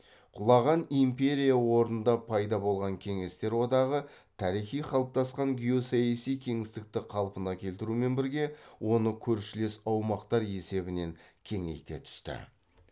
құлаған империя орнында пайда болған кеңестер одағы тарихи қалыптасқан геосаяси кеңістікті қалпына келтірумен бірге оны көршілес аумақтар есебінен кеңейте түсті